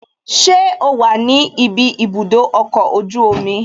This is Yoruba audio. Ṣé o wà ní ibi ibùdó ọkọ̀ ojú omi?